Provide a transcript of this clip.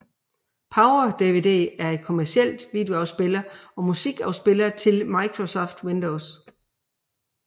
PowerDVD er en kommercielt videoafspiller og musikafspiller til Microsoft Windows